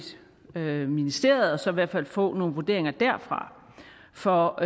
til ministeriet og så i hvert fald få nogle vurderinger derfra for